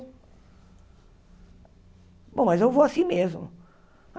Bom, mas eu vou assim mesmo.